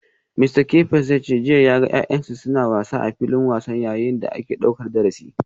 Mista Kefas ya ce jiya ya ga ‘ya’yansa suna wasa a filin wasa yayin da ake daukar darasi.